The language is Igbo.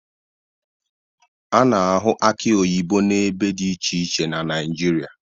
A na-ahụ akị oyibo n'ebe dị iche iche na Naịjirịa